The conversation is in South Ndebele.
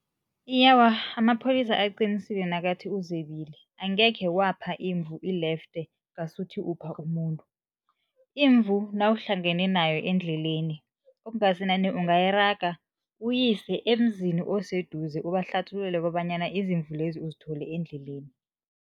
amapholisa aqinisile nakathi uzebile angekhe wapha imvu ilefte ngasuthi upha umuntu. Imvu nawuhlangene nayo endleleni okungasanani ungayiraga uyise emzini oseduze ubahlathululele kobanyana izimvu lezi uzithole endleleni.